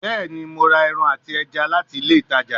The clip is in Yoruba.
Bẹẹni, Mo ra ẹran ati ẹja lati ile itaja